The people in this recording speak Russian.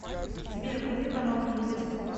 сбер вруби канал калейдоскоп